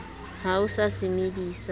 ha o sa se medisa